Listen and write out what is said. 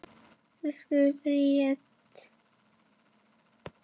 Elsku Breki minn.